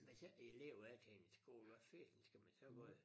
Hvis ik æ elever er til en skole hvad fanden skal man så gøre